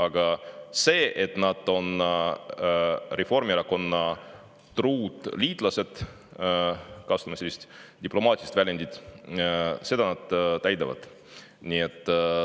Aga seda, et nad on Reformierakonna truud liitlased – kasutame sellist diplomaatilist väljendit –, nad täidavad.